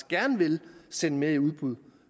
gerne vil sende mere i udbud